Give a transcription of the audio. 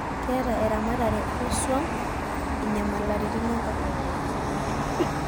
keeta eramatare oo swam inyamalaritin enkop